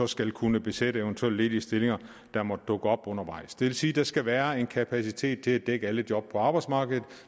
skal kunne besætte eventuelle ledige stillinger der måtte dukke op undervejs det vil sige at der skal være en kapacitet til at dække alle job på arbejdsmarkedet